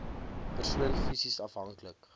persoon fisies afhanklik